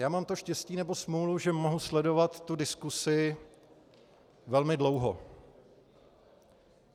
Já mám to štěstí nebo smůlu, že mohu sledovat tu diskusi velmi dlouho.